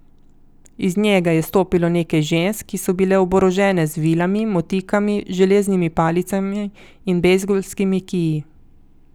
Iz njega je stopilo nekaj žensk, ki so bile oborožene z vilami, motikami, železnimi palicami in bejzbolskimi kiji.